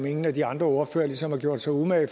ingen af de andre ordførere ligesom har gjort sig umage